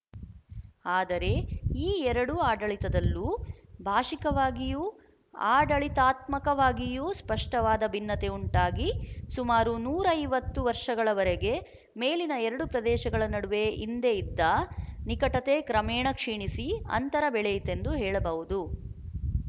ಆದರೆ ಈ ಎರಡು ಆಡಳಿತದಲ್ಲೂ ಭಾಶಿಕವಾಗಿಯೂ ಆಡಳಿತಾತ್ಮಕವಾಗಿಯೂ ಸ್ಪಷ್ಟವಾದ ಭಿನ್ನತೆ ಉಂಟಾಗಿ ಸುಮಾರು ನೂರ ಐವತ್ತು ವರ್ಶಗಳವರೆಗೆ ಮೇಲಿನ ಎರಡು ಪ್ರದೇಶಗಳ ನಡುವೆ ಹಿಂದೆ ಇದ್ದ ನಿಕಟತೆ ಕ್ರಮೇಣ ಕ್ಷೀಣಿಸಿ ಅಂತರ ಬೆಳೆಯಿತೆಂದು ಹೇಳಬಹುದು